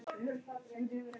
Elsku afi Mummi.